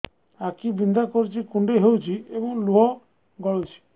ଆଖି ବିନ୍ଧା କରୁଛି କୁଣ୍ଡେଇ ହେଉଛି ଏବଂ ଲୁହ ଗଳୁଛି